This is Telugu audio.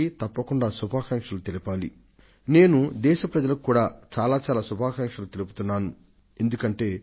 ఆ విద్యార్థులందరికీ హృదయపూర్వకంగా అభినందనలను తెలిపే తీరాలి